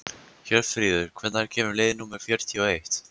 Hjörfríður, hvenær kemur leið númer fjörutíu og eitt?